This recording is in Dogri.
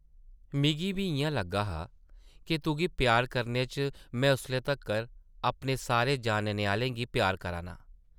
मिगी बी इʼयां लग्गा हा ’क तुगी प्यार करने च में उसले तक्कर अपने सारे जानने आह्लें गी प्यार करा ना।